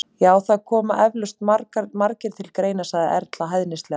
Já, það koma eflaust margir til greina- sagði Erla hæðnislega.